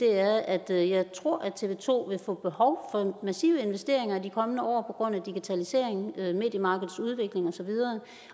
er at jeg jeg tror at tv to vil få behov for massive investeringer i de kommende år på grund af digitalisering mediemarkedets udvikling osv